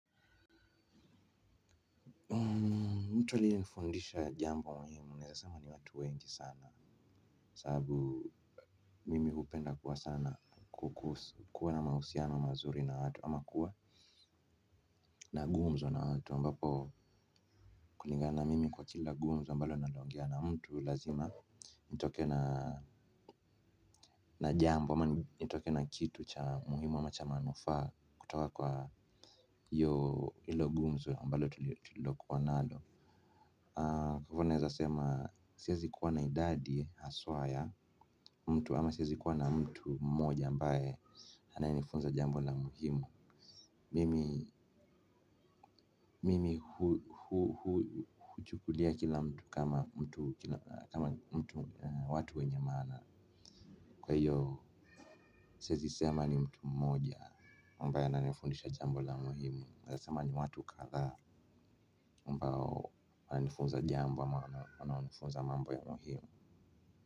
Mtu aliye nifundisha jambo muhimu, naweza sema ni watu wengi sana. Kwa sababu mimi hupenda kwa sana kuwa na mahusiano mazuri na watu, ama kuwa na gumzo na watu, mbapo kulingana na mimi kwa kila gumzo mbalo naongea na mtu lazima, nitoke na jambo, ama nitoke na kitu cha muhimu ama cha manufaa, kutoka kwa hilo gumzo ambalo tulilokuwa nalo. Kwa hivyo naweza kusema, siwezi kuwa na idadi, haswa ya, mtu ama siwezi kuwa na mtu mmoja ambaye ananifunza jambo la muhimu mimi mimi hu chukulia kila mtu kama mtu, kama watu wenye maana kwa hiyo siwezi kusema ni mtu mmoja ambaye ananifundisha jambo la muhimu naweza sema ni watu kadhaa ambao wananifunza jambo ama wananifunza mambo ya muhimu.